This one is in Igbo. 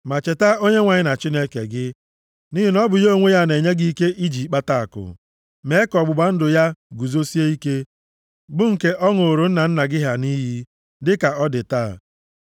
Ma cheta Onyenwe anyị Chineke gị, nʼihi na ọ bụ ya onwe ya na-enye gị ike i ji akpata akụ, ime ka ọgbụgba ndụ ya guzosie ike, bụ nke ọ ṅụrụ nna nna gị ha nʼiyi, dịka ọ dị taa.